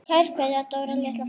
Kær kveðja, Dóra litla frænka.